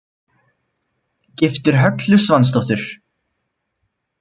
Giftur Höllu Svansdóttur.